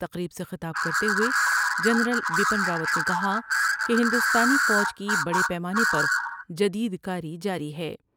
تقریب سے خطاب کرتے ہوۓ جنرل بپن راوت نے کہا کہ ہندوستانی فوج کی بڑے پیمانے پر جدید کاری جاری ہے ۔